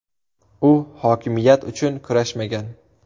U hokimiyat uchun kurashmagan.